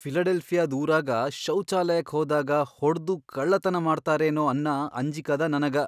ಫಿಲಡೆಲ್ಫಿಯಾದ್ ಊರಾಗ ಶೌಚಾಲಯಕ್ಕ್ ಹೋದಾಗ ಹೊಡ್ದು ಕಳ್ಳತನಾ ಮಾಡ್ತಾರೆನೋ ಅನ್ನ ಅಂಜಿಕದ ನನಗ.